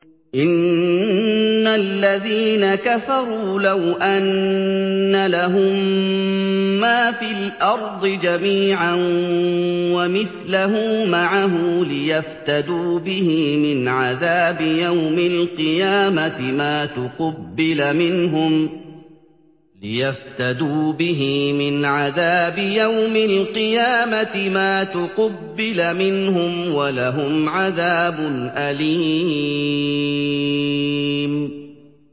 إِنَّ الَّذِينَ كَفَرُوا لَوْ أَنَّ لَهُم مَّا فِي الْأَرْضِ جَمِيعًا وَمِثْلَهُ مَعَهُ لِيَفْتَدُوا بِهِ مِنْ عَذَابِ يَوْمِ الْقِيَامَةِ مَا تُقُبِّلَ مِنْهُمْ ۖ وَلَهُمْ عَذَابٌ أَلِيمٌ